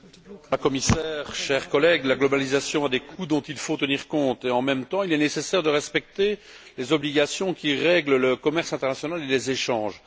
Monsieur le Président, Madame la Commissaire, chers collègues, la globalisation a des coûts dont il faut tenir compte et, en même temps, il est nécessaire de respecter les obligations qui règlent le commerce international et les échanges.